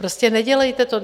Prostě nedělejte to.